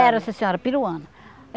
Era, sim senhora, peruano.